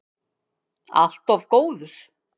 Allt of góður.